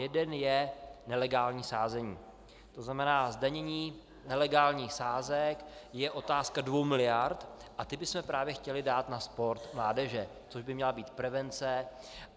Jeden je nelegální sázení, to znamená zdanění nelegálních sázek je otázka dvou miliard a ty bychom právě chtěli dát na sport mládeže, což by měla být prevence.